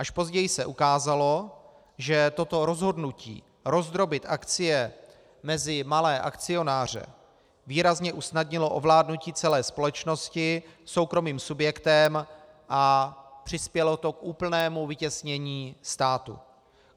Až později se ukázalo, že toto rozhodnutí rozdrobit akcie mezi malé akcionáře výrazně usnadnilo ovládnutí celé společnosti soukromým subjektem a přispělo to k úplnému vytěsnění státu.